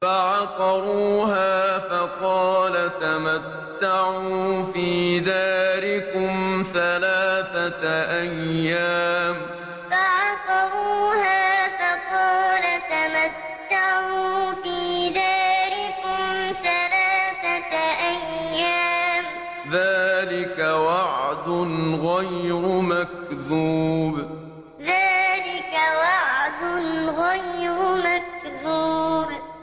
فَعَقَرُوهَا فَقَالَ تَمَتَّعُوا فِي دَارِكُمْ ثَلَاثَةَ أَيَّامٍ ۖ ذَٰلِكَ وَعْدٌ غَيْرُ مَكْذُوبٍ فَعَقَرُوهَا فَقَالَ تَمَتَّعُوا فِي دَارِكُمْ ثَلَاثَةَ أَيَّامٍ ۖ ذَٰلِكَ وَعْدٌ غَيْرُ مَكْذُوبٍ